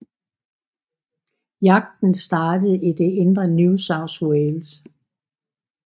Jagten startede i det indre New South Wales